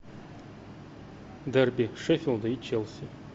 дерби шеффилда и челси